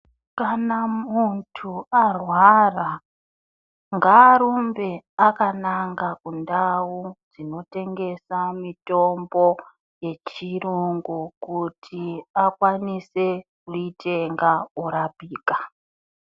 Kana muntu arwara ngarumbe alananga kundau dzinotengesa mitombo michiro nekuti akwanise kuitenga kana ikaita.